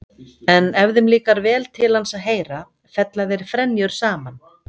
En ef þeim líkar vel til hans að heyra fella þeir frenjur saman.